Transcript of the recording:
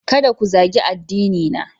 Kada ku zagi addinina!